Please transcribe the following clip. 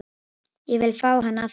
Ég vil fá hann aftur.